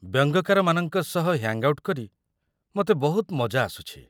ବ୍ୟଙ୍ଗକାରମାନଙ୍କ ସହ hang out କରି ମୋତେ ବହୁତ ମଜା ଆସୁଛି।